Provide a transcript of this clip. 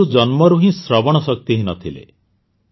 ମଞ୍ଜୁ ଜନ୍ମରୁ ହିଁ ଶ୍ରବଣ ଶକ୍ତିହୀନ ଥିଲେ